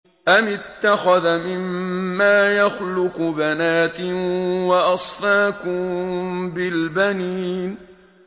أَمِ اتَّخَذَ مِمَّا يَخْلُقُ بَنَاتٍ وَأَصْفَاكُم بِالْبَنِينَ